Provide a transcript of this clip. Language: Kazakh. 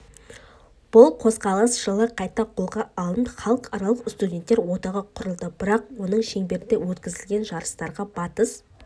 бұл қозғалыс жылы қайта қолға алынып халықаралық студенттер одағы құрылды бірақ оның шеңберінде өткізілген жарыстарға батыс